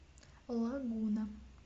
лагуна